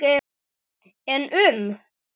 En um?